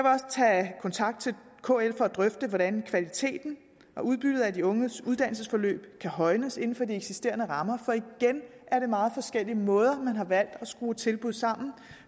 også tage kontakt til kl for at drøfte hvordan kvaliteten og udbyttet af de unges uddannelsesforløb kan højnes inden for de eksisterende rammer for igen er det meget forskellige måder man har valgt at skrue tilbud sammen